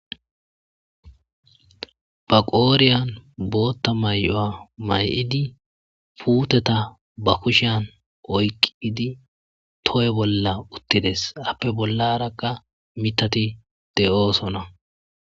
Ba qoodhiyan bootta mayo mayidi puuteta ba kushiyan oyqqidi toho bolla uttides.appe bollaraka mithati de7osona.